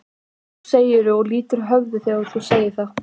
Og nú segirðu og lýtur höfði þegar þú segir það.